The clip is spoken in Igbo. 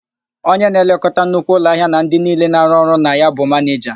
Onye na-elekọta nnukwu ụlọahịa na ndị niile na-arụ ọrụ na ya bụ manịja.